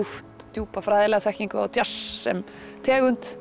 djúpa fræðilega þekkingu á djass sem tegund